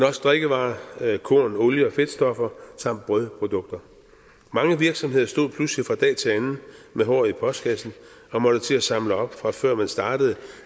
også drikkevarer korn olie og fedtstoffer samt brødprodukter mange virksomheder stod pludselig fra dag til anden med håret i postkassen og måtte til at samle op fra før man startede